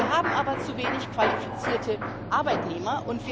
Wir haben aber zu wenig qualifizierte Arbeitnehmer.